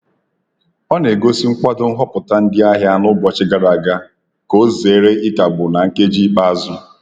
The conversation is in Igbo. Ọ na-egosi nkwado nhọpụta ndị ahịa n’ụbọchị gara aga ,ka ọ zere ịkagbụ na nkeji ikpeazụ.